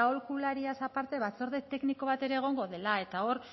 aholkulariaz aparte batzorde tekniko bat ere egongo dela eta hor